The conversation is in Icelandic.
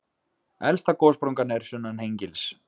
Elsta gossprungan er sunnan Hengils.